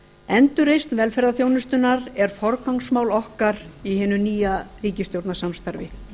endurreisn velferðarþjónustunnar er forgangsmál okkar í hinu nýja ríkisstjórnarsamstarfi